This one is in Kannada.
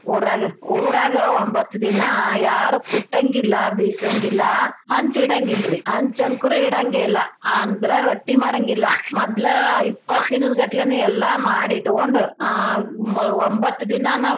ಊರಾಗ. ಊರಾಗ ಒಂಬತ್ದಿನಾ ಯ್ಯಾರು ಕುಟಂಗಿಲ್ಲಾ, ಬೀಸಂಗಿಲ್ಲಾ ಹಂಚ್ ಇಡಂಗಿಲ್ರೀ. ಹಂಚ್ ಅಂಕೃೂ ಇಡಂಗೆೇಲ್ಲ ಆಂದ್ರ ರೊಟ್ಟೀ ಮಾಡಂಗಿಲ್ಲಾ ಮದ್ಲ ಇಪ್ಪತ್ದೀನ್ದಗಟ್ಲೆನ ಎಲ್ಲಾ ಮಾಡಿ ಇಟ್ಗೊಂಡ ಆ ಹ್ಮ್ ಒಂಬತ್ತ ದಿನಾ ನಾವ್.